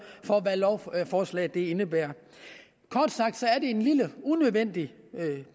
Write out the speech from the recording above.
for hvad lovforslaget indebærer kort sagt er det en lille unødvendig